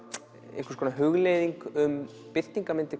einhvers konar hugleiðing um birtingarmyndir